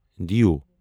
دیو